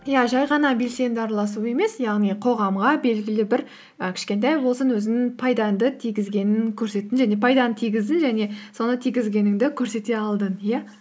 иә жай ғана белсенді араласу емес яғни қоғамға белгілі бір і кішкентай болсын өзіңнің пайдаңды тигезгенін көрсеттің және пайданы тигіздің және соны тигізгеніңді көрсете алдың иә